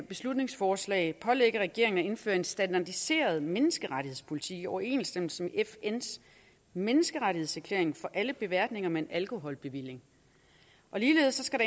beslutningsforslag pålægge regeringen at indføre en standardiseret menneskerettighedspolitik i overensstemmelse med fns menneskerettighedserklæring for alle beværtninger med en alkoholbevilling ligeledes skal